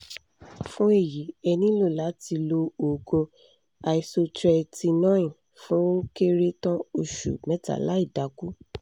fún èyí ẹ nílò láti lo òògùn isotretinoin fún ó kéré tàn oṣù mẹ́ta láìdákù